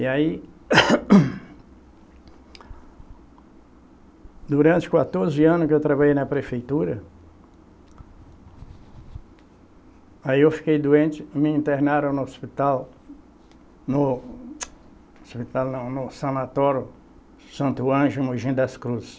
E aí, durante quatorze anos que eu trabalhei na prefeitura aí eu fiquei doente, me internaram no hospital, no hospital não, no sanatório Santo Anjo em Mogi das Cruzes.